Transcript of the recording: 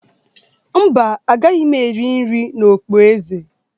Mba, agaghị m eri nri na okpueze.